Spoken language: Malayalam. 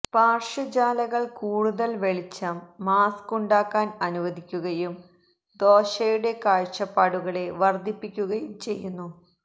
പാർശ്വ ജാലകങ്ങൾ കൂടുതൽ വെളിച്ചം മാസ്ക് ഉണ്ടാക്കാൻ അനുവദിക്കുകയും ദോശയുടെ കാഴ്ചപ്പാടുകളെ വർദ്ധിപ്പിക്കുകയും ചെയ്യുന്നു